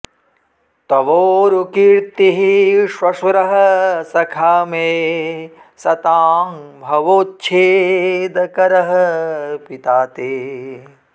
तवोरुकीर्तिः श्वशुरः सखा मे सतां भवोच्छेदकरः पिता ते